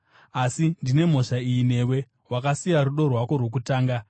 Asi ndine mhosva iyi newe: Wakasiya rudo rwako rwokutanga.